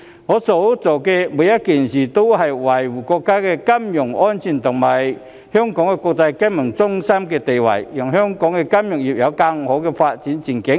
我所做的每一件事都是維護國家的金融安全和香港國際金融中心的地位，讓香港的金融業有更好的發展前景。